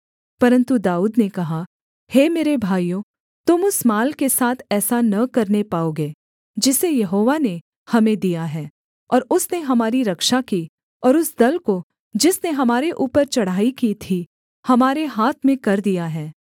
परन्तु दाऊद ने कहा हे मेरे भाइयों तुम उस माल के साथ ऐसा न करने पाओगे जिसे यहोवा ने हमें दिया है और उसने हमारी रक्षा की और उस दल को जिसने हमारे ऊपर चढ़ाई की थी हमारे हाथ में कर दिया है